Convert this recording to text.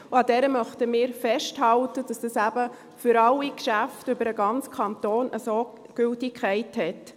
An dieser möchten wir festhalten, damit das eben für alle Geschäfte über den ganzen Kanton so Gültigkeit hat.